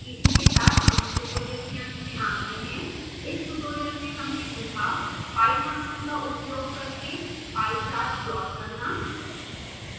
इसी के साथ हम इस ट्यूटोरियल के अंत में आ गए हैं